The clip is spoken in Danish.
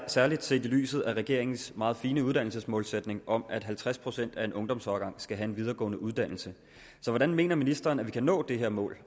særlig set i lyset af regeringens meget fine uddannelsesmålsætning om at halvtreds procent af en ungdomsårgang skal have en videregående uddannelse så hvordan mener ministeren at vi kan nå det her mål